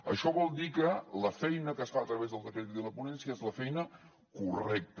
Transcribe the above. això vol dir que la feina que es fa a través del decret i de la ponència és la feina correcta